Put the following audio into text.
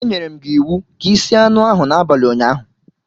Enyerem gi iwu ka i sie anu ahu n'abali unyaahu